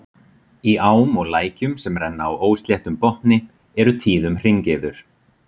Í ám og lækjum, sem renna á ósléttum botni, eru tíðum hringiður.